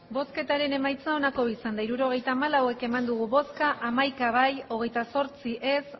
hirurogeita hamalau eman dugu bozka hamaika bai hogeita zortzi ez